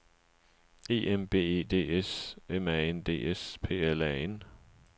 E M B E D S M A N D S P L A N